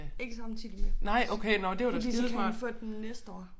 Ikke samtidig med så fordi så kan han få den næste år